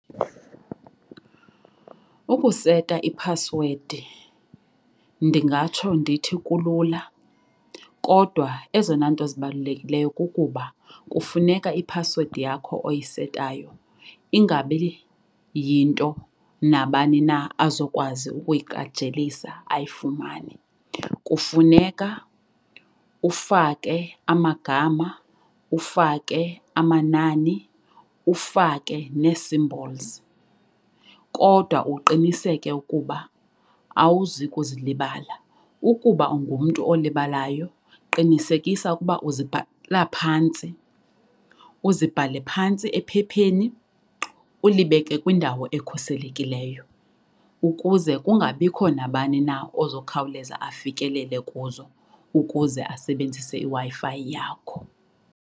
Ukuseta iphasiwedi ndingatsho ndithi kulula kodwa ezona nto zibalulekileyo kukuba kufuneka iphasiwedi yakho oyisetayo ingabi yinto nabani na azokwazi ukuyiqajelisa ayifumane. Kufuneka ufake amagama, ufake amanani, ufake ne-symbols kodwa uqiniseke ukuba awuzi kuzilibala. Ukuba ungumntu olibalayo qinisekisa ukuba uzibhala phantsi uzibhale phantsi ephepheni ulibeke kwindawo ekhuselekileyo ukuze kungabikho nabani na ozokhawuleza afikelele kuzo ukuze asebenzise iWi-Fi yakho.